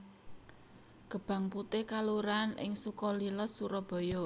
Gebang Putih kelurahan ing Sukalila Surabaya